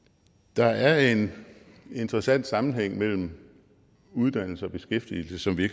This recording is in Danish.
der er en interessant sammenhæng mellem uddannelse og beskæftigelse som vi